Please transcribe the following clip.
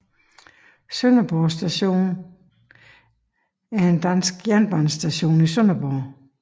Sønderborg Station er en dansk jernbanestation i Sønderborg